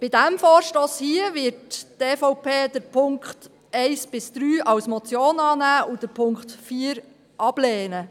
Bei diesem Vorstoss hier wird die EVP die Punkte 1–3 als Motion annehmen und den Punkt 4 ablehnen.